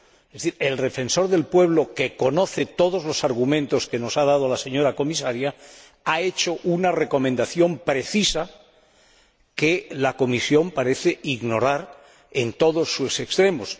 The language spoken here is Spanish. Es decir, el Defensor del Pueblo, que conoce todos los argumentos que nos ha dado la señora Comisaria, ha hecho una recomendación precisa que la Comisión parece ignorar en todos sus extremos.